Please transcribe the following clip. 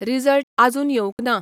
Result आजून येवंक ना.